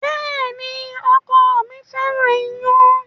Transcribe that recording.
Bẹ́ẹ̀ni, ọkọ mi fẹ́ràn ìyàn